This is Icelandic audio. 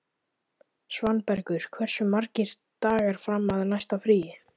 Svanbergur, hversu margir dagar fram að næsta fríi?